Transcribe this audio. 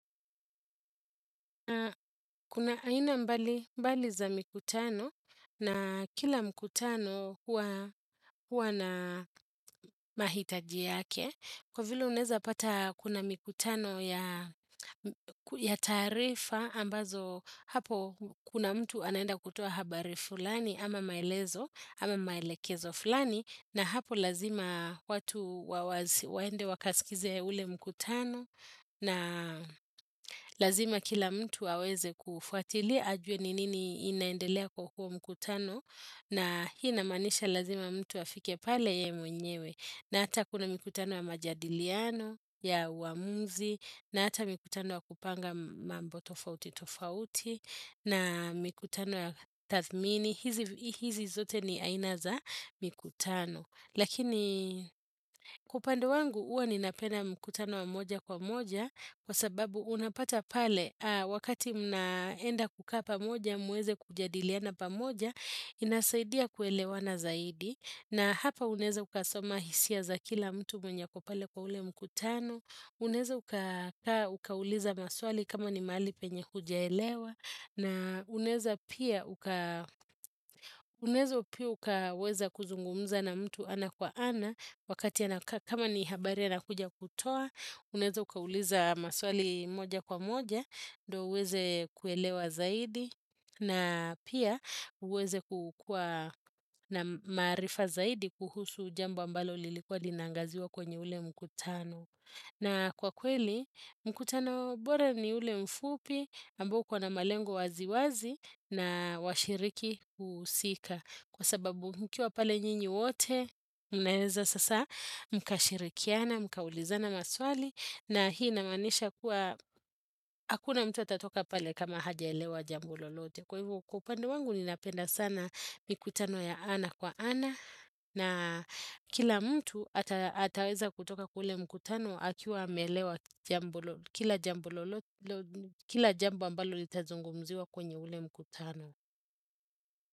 Kuna aina mbali za mikutano na kila mikutano huwa na mahitaji yake. Kwa vile uneza pata kuna mikutano ya tarifa ambazo hapo kuna mtu anaenda kutua habari fulani ama maelezo ama maelekezo fulani na hapo lazima watu waende wakasikize ule mikutano. Na lazima kila mtu waweze kufuatili ajuwe ninini inaendelea kwa huwo mkutano na hii inamanisha lazima mtu afike pale ye mwenyewe na ata kuna mikutano ya majadiliano, ya wamuzi na ata mkutano wa kupanga mambo tofauti tofauti na mkutano wa tatmini, hizi zote ni ainaza mkutano Lakini kwa upande wangu uwa ninapenda mkutano wa moja kwa moja kwa sababu unapata pale wakati mnaenda kukaa pamoja muweze kujadiliana pamoja inasaidia kuelewana zaidi na hapa uneza ukasoma hisia za kila mtu mwenye ako pale kwa ule mkutano uneza ukauliza maswali kama ni mali penye hujaelewa na uneza pia ukaweza kuzungumza na mtu ana kwa ana wakati kama ni habare ana kujakutoa Uneza ukawuliza maswali moja kwa moja ndo uweze kuelewa zaidi na pia uweze kukua na marifa zaidi kuhusu jambo ambalo lilikwa linangaziwa kwenye ule mkutano. Na kwa kweli, mkutano bora ni ule mfupi, ambokuwa na malengo waziwazi na washiriki usika. Kwa sababu mkiwa pale nyinyi wote, unaeza sasa mkashirikiana, mkaulizana maswali. Na hii namanisha kuwa, hakuna mtu atatoka pale kama hajaelewa jambo lolote. Kwa hivo kwa upande wangu, ninapenda sana mikutano ya ana kwa ana. Na kila mtu ataweza kutoka kuule mkutano akiwa hamelewa kila jambo ambalo itazungumziwa kwenye ule mkutano.